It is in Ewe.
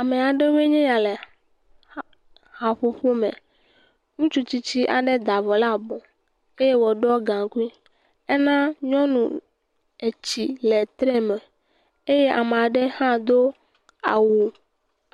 Ame aɖewoe nye ya le haƒoƒo me, ŋutsu tsitsi aɖe da avɔ ɖe abɔ eye woɖɔ gaŋkui, ena nyɔnu etsi le tre me eye ame aɖe hã do awu